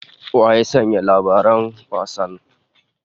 Wa ya sanya gasar labaran?